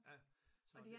Ja så det